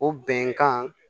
O bɛnkan